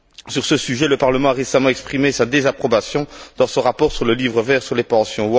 Sur ce sujet, le Parlement a récemment exprimé sa désapprobation dans son rapport sur le Livre vert sur les pensions.